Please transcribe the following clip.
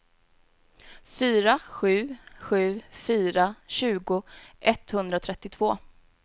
fyra sju sju fyra tjugo etthundratrettiotvå